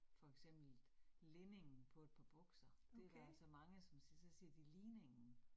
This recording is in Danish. For eksempel linningen på et par bukser, det der altså mange, som så siger de ligningen